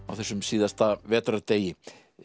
á þessum síðasta vetrardegi